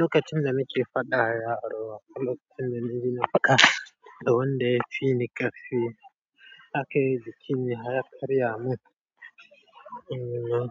lokacin da nake faɗa da yaro a falo, sune ni na fada, don dai shi ni ka fi take zuchini har kariya mun, um.